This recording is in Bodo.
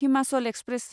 हिमाचल एक्सप्रेस